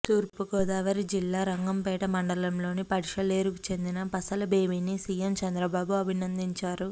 తూర్పుగోదావరి జిల్లా రంగంపేట మండలంలోని పడిశలేరుకు చెందిన పసల బేబిని సీఎం చంద్రబాబు అభినందించారు